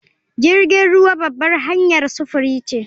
Jirgin ruwa babbar hanyar sufuri ce